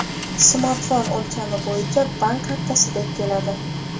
Smartfon o‘lchami bo‘yicha bank kartasidek keladi.